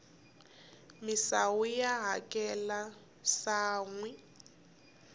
misawu ya haxeka sanhwi